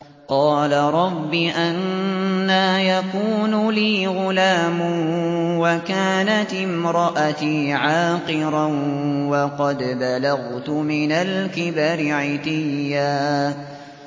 قَالَ رَبِّ أَنَّىٰ يَكُونُ لِي غُلَامٌ وَكَانَتِ امْرَأَتِي عَاقِرًا وَقَدْ بَلَغْتُ مِنَ الْكِبَرِ عِتِيًّا